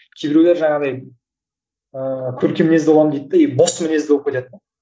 кейбіреулер жаңағыдай ыыы көркем мінезді боламын дейді де и бос мінезді болып кетеді де